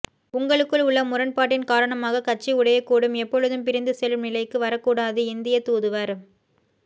உங்களுக்குள் உள்ள முரண்பாட்டின் காரணமாகக் கட்சி உடையக்கூடும்எப்பொழுதும் பிரிந்து செல்லும் நிலைக்கு வரக்கூடாதுஇந்தியத் தூதுவர்